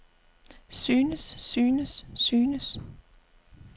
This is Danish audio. synes synes synes